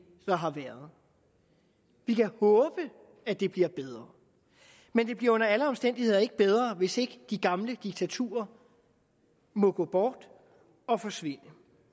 der har været vi kan håbe at det bliver bedre men det bliver under alle omstændigheder ikke bedre hvis ikke de gamle diktaturer må gå bort og forsvinde